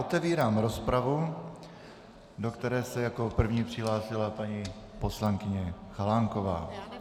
Otevírám rozpravu, do které se jako první přihlásila paní poslankyně Chalánková.